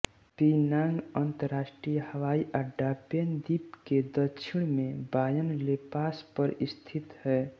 पिनांग अंतर्राष्ट्रीय हवाई अड्डा पेन द्वीप के दक्षिण में बायन लेपास पर स्थित है